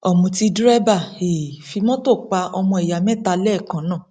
ọmùtí dèrèbà um fi mọtò pa ọmọ ìyá mẹta lẹẹkan náà